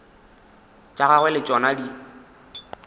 tša gagwe le tšona di